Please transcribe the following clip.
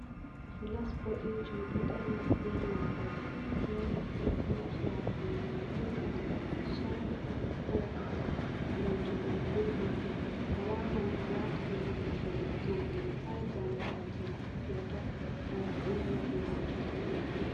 Fulas bodejum ɗo dari be mabɓode ɓe ɗo naftira fulas watu gondiyam gulɗam ch'ai, ko ga'ri, gam jogugo gulɗam mai a wawan a wa'ta hunde maɗa diga hande har jango fajira feutata kanju on nafu majum.